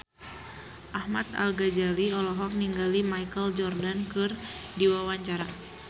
Ahmad Al-Ghazali olohok ningali Michael Jordan keur diwawancara